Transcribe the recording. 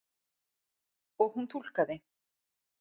Og hún túlkaði.